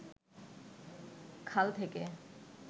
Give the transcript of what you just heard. খাল থেকে